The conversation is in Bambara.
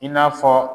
I n'a fɔ